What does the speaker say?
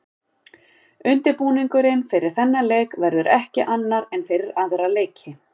Undirbúningurinn fyrir þennan leik verður ekki annar en fyrir aðra leiki.